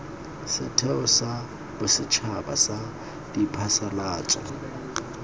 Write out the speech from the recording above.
setheo sa bosetšhaba sa diphasalatso